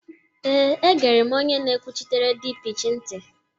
ee, egere m onye na-ekwuchitere dpeech ntị